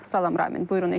Salam Ramin.